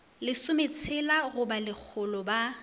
lesometshela go ba lekgolo ba